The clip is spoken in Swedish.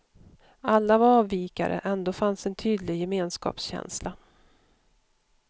Alla var avvikare, ändå fanns en tydlig gemenskapskänsla.